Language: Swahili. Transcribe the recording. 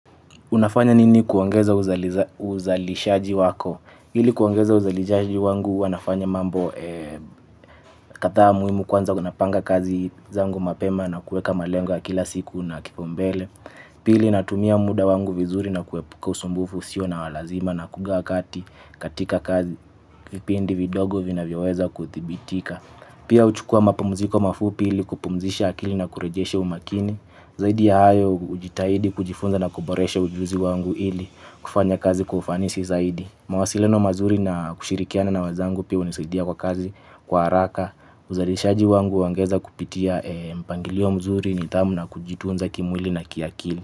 Unafanya nini kuongeza uzalishaji wako? Hili kuongeza uzalishaji wangu huwa nafanya mambo kadhaa muhimu kwanza napanga kazi zangu mapema na kuweka malengo ya kila siku na kipaumbele. Pili natumia muda wangu vizuri na kuepuka usumbufu usio na walazima na kugawa kati katika kazi. Vipindi vidogo vinavyoweza kudhibitika. Pia huchukua mapamuziko mafupi hili kupumzisha akili na kurejesha umakini. Zaidi ya hayo hujitahidi kujifunza na kuboresha ujuzi wangu ili kufanya kazi kwa ufanisi zaidi. Mawasiliano mazuri na kushirikiana na wenzangu pia unisaidia kwa kazi kwa haraka. Uzalishaji wangu huongeza kupitia mpangilio mzuri nidhamu na kujitunza kimwili na kiakili.